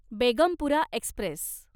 Begumpura Express